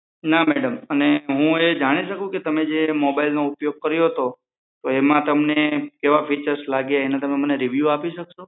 No madam હું એ જાણી શકું કે તમે જે મોબાઈલનો ઉપયોગ કર્યો હતો એમાં તમને કેવા ફીચર્સ લાગ્યા એનો તમે રીવ્યુ આપી શકશો